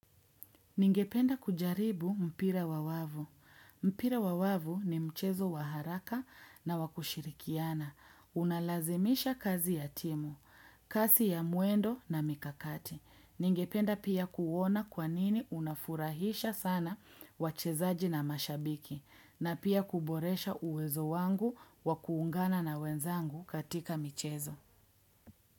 Ningependa kujaribu mpira wa wavu. Mpira wa wavu ni mchezo wa haraka na wakushirikiana. Unalazimisha kazi ya timu, kasi ya muendo na mikakati. Ningependa pia kuuona kwanini unafurahisha sana wachezaji na mashabiki. Na pia kuboresha uwezo wangu wakuungana na wenzangu katika michezo.